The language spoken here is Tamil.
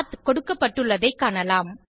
பத் கொடுக்கப்பட்டுள்ளதைக் காணலாம்